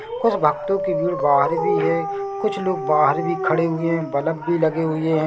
कुछ भक्तों की भीड़ बाहर भी है कुछ लोग बाहर भी खड़े हुए बलब भी लगे हुए है।